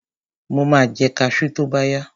Mo ma jẹ kaṣú tóbáyá.